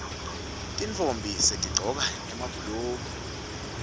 tintfombi setigcoka emabhuluko